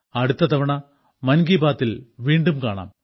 അടുത്ത തവണ മൻ കി ബാത്തിൽ വീണ്ടും കാണാം